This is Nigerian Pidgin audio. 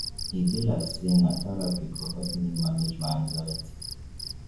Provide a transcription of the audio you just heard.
e be like sey na therapy go help me manage my anxiety.